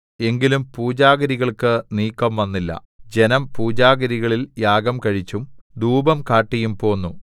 എങ്കിലും പൂജാഗിരികൾക്ക് നീക്കംവന്നില്ല ജനം പൂജാഗിരികളിൽ യാഗം കഴിച്ചും ധൂപം കാട്ടിയും പോന്നു